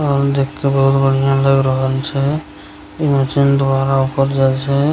और देख के बहुत बढ़िया लग रहल छे ई मशीन द्वारा ऊपर जाई छे।